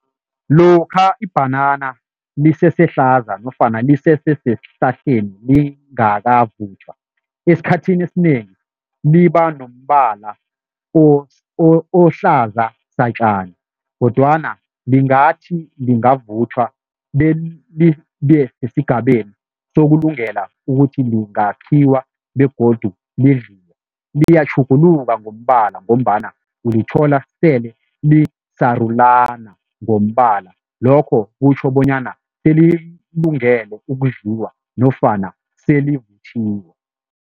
Lokha ibhanana lisese hlaza nofana lisese sesihlahleni lingakavuthwa, esikhathini esinengi liba nombala ohlaza satjani kodwana lingathi lingavuthwa esigabeni sokulungela ukuthi lingakhiwa begodu lidliwe liyatjhuguluka ngombala ngombana ulithola sele lisarulana ngombala lokho kutjho bonyana selilungele ukudliwa nofana selivuthiwe.